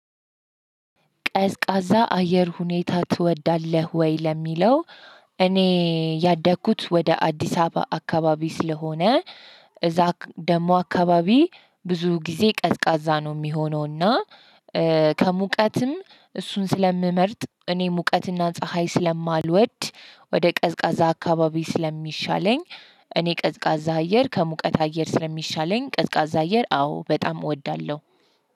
ቀዝቃዛ አየር ሁኔታ ትወዳለህ ወይ ለሚለው? እኔ ያደግኩት ወደ አዲስ አበባ አካባቢ ስለሆነ እዛ ደግሞ አካባቢ ብዙ ጊዜ ቀዝቃዛ ነው የሚሆነው እና። ከሙቀትም እሱን ስለምመርጥ እኔ ሙቀትና ፀሀይ ስለማልወድ ወደ ቀዝቃዛ አካባቢ ስለሚሻለኝ። እኔ ቀዝቃዛ አየር ከሙቀት አየር ስለሚሻለኝ ቀዝቃዛ አየር አዎ በጣም እወዳለሁ።